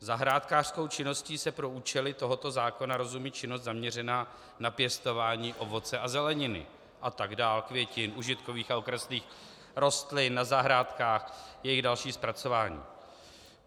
Zahrádkářskou činností se pro účely tohoto zákona rozumí činnost zaměřená na pěstování ovoce a zeleniny a tak dál, květin, užitkových a okrasných rostlin na zahrádkách, jejich další zpracování.